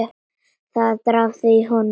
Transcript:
Það drafaði í honum.